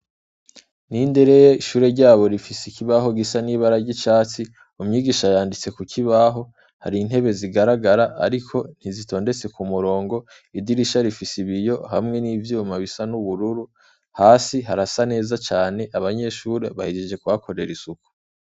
ishure ryaho rifise ikibaho gisa n'icatsi, umwigisha yanditse ku kibaho hari intebe zigaragara ariko ntizitondetse ku murongo, idirisha zifise ibiyo hamwe n'ivyuma bisa n'ubururu, hasi harasa neza cane abanyeshure bahejeje kuhakorera isuku.